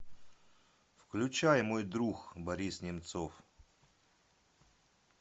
включай мой друг борис немцов